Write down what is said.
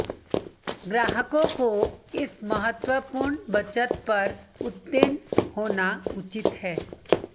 ग्राहकों को इस महत्वपूर्ण बचत पर उत्तीर्ण होना उचित है